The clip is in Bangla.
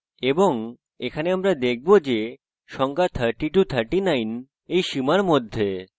এবং এখানে আমরা দেখব যে সংখ্যা 3039 এই সীমার মধ্যে